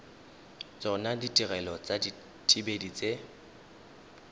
tsona ditirelo tsa dithibedi tse